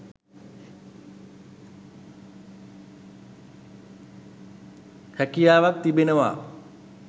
හැකියාවක් තිබෙනවා